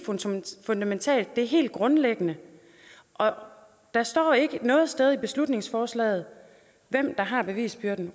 fundamentalt det er helt grundlæggende og der står ikke noget sted i beslutningsforslaget hvem der har bevisbyrden